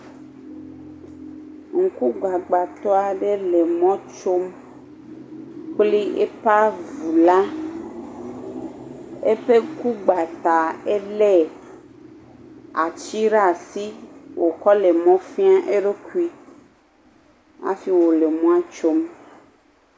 Ŋku gbagba tɔ aɖe le emɔ me tsom kple eƒe avu la. Eƒe ŋku gbã ta ele ati ɖe asi wokɔ le emɔ fia eɖokui hafi wokɔ le mɔa tsom.